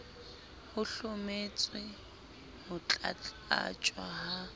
ho hlometswe ho tlatlaptjwa ha